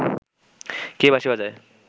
কে বাঁশি বাজায়